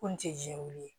Ko nin tɛ jɛkulu ye